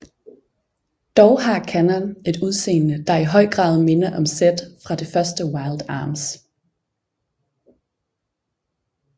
Dog har Kanon et udseende der i høj grad minder om Zed fra det første Wild Arms